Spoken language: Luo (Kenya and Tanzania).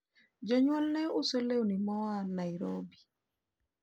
jonyuol ne uso lewni mao Nairobi